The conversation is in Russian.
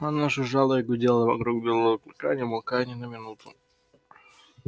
она жужжала и гудела вокруг белого клыка не умолкая ни на минуту